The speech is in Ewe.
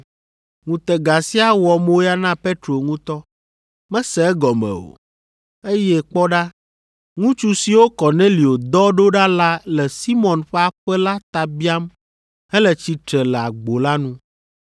Ŋutega sia wɔ moya na Petro ŋutɔ. Mese egɔme o, eye kpɔ ɖa, ŋutsu siwo Kornelio dɔ ɖo ɖa la le Simɔn ƒe aƒe la ta biam hele tsitre le agbo la nu.